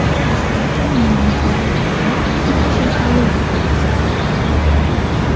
Dastlabki ma’lumotlarga ko‘ra, ikki kishi halok bo‘lgan.